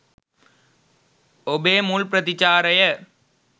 ඔබේ මුල් ප්‍රතිචාරය